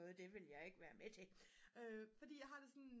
og det vil jeg ikke være med til fordi jeg har det sådan